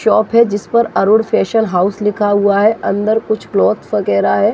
Shop है जिस पर अरुण फेशन हाउस लिखा हुआ है अंदर कुछ क्लॉथ वगेरा है।